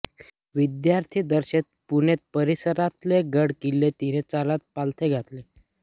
विद्यार्थीदशेत पुणे परिसरातले गड किल्ले तिने चालत पालथे घातले